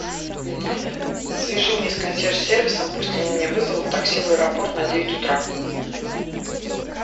свяжи меня с консьерж сервисом пусть они мне вызовут такси в аэропорт на девять утра